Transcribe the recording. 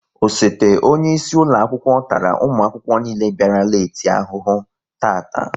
Osote onyeisi ụlọakwụkwọ tara ụmụakwụkwọ niile bịara leeti ahụhụ taata